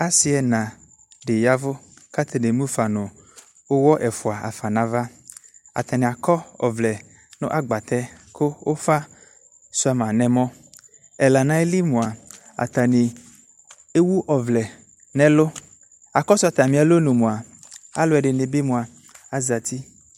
Ase ɛna de yavu ko atane emu ni uwɔ ɛfua hafa no ava Atane akɔ ɔvlɛ no agvatɛ ko ufa sua ma no ɛmɔ Ɛla no ayili moa atane ewu ɔvlɛ no ɛluAkɔso atame alɔnu moa alɛde be moa azati